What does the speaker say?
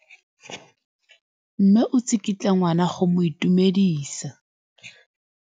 Mme o tsikitla ngwana go mo itumedisa.